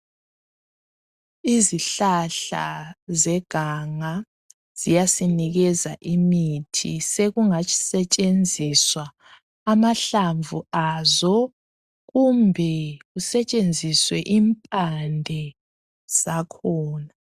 Izihlahla zeganga ziyasinikeza imithi. Sekungatshisetshenziswa amahlamvu azo kumbe kusetshenziswe impande zakhona.